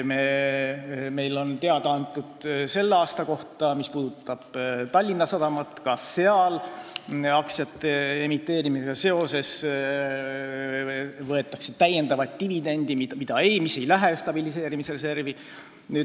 Meile on selle aasta kohta teada antud, et Tallinna Sadama aktsiate emiteerimisega seoses võetakse täiendavaid dividende, mis ei lähe stabiliseerimisreservi.